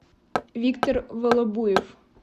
виктор волобуев